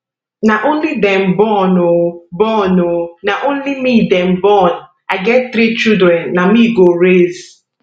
na only dem born oh born oh na only me dem born i get three children na me go raise